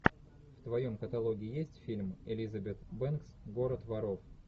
в твоем каталоге есть фильм элизабет бэнкс город воров